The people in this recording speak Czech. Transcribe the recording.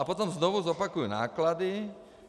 A potom znovu zopakuji náklady.